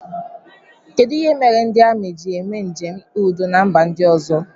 Kedụ ihe mere ndị amị ji eme njem ikpe udo na mba ndị ọzọ?